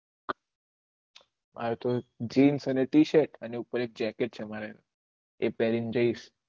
આમ તો જીન્સ અને ટી શર્ટ અને ઉપર jacket પેહ્રીને જયીસ